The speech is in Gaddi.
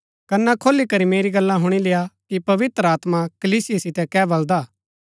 कना खोली करी मेरी गल्ला हुणी लेय्आ कि पवित्र आत्मा कलीसिया सीतै कै बलदा हा